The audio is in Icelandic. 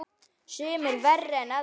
Sumir verri en aðrir.